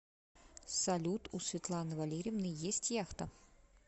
салют у светланы валерьевны есть яхта